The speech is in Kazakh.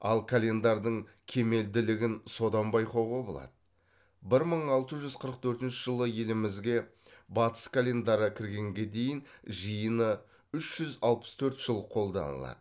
ал календардың кемелділігін содан байқауға болады бір мың алты жүз қырық төртінші жылы елімізге батыс календары кіргенге дейін жиыны үш жүз алпыс төрт жыл қолданылады